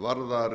varðar